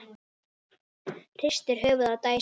Hristir höfuðið og dæsir.